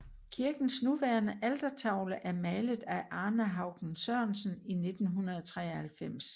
Kirkens nuværende altertavle er malet af Arne Haugen Sørensen i 1993